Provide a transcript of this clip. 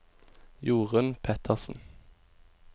Jorun Pettersen